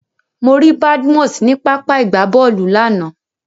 Mo rí Badmus ní pápá ìgbábọ́ọ̀lù lánàá.